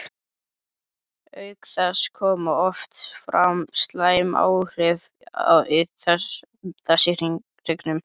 Auk þess koma oft fram slæm áhrif þess í hryggnum.